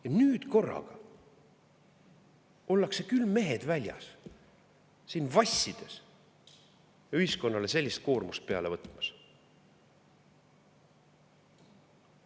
Ja nüüd korraga ollakse küll mehed väljas, siin vassides ja ühiskonnale sellist koormust peale võtmas!